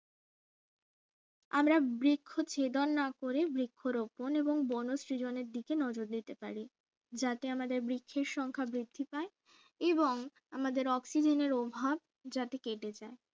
আমরা বৃক্ষ ছেদন না করে বৃক্ষরোপণ এবং বনো সৃজনের দিকে নজর দিতে পারি যাতে আমাদের বৃক্ষের সংখ্যা বৃদ্ধি পায় এবং আমাদের অক্সিজেনের অভাব যাতে কেটে যায়